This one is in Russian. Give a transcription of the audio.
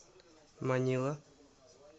манила